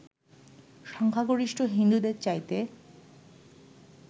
সংখ্যাগরিষ্ঠ হিন্দুদের চাইতে